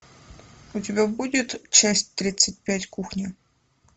у тебя будет часть тридцать пять кухня